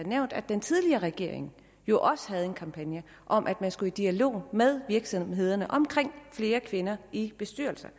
nævnt at den tidligere regering jo også havde en kampagne om at man skulle i dialog med virksomhederne om flere kvinder i bestyrelserne